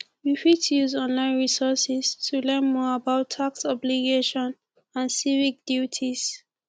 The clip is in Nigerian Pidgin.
we fit use online resources to learn more about tax obligations and civic duties